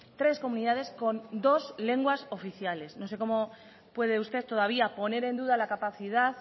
tres comunidades con dos lenguas oficiales no sé cómo puede usted todavía poner en duda la capacidad